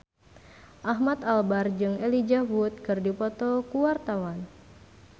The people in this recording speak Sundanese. Ahmad Albar jeung Elijah Wood keur dipoto ku wartawan